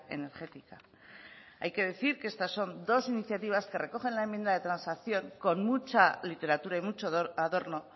energética hay que decir que estas son dos iniciativas que recoge en la enmienda de transacción con mucha literatura y mucho adorno